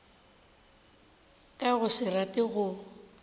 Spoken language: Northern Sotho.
ka go se rate go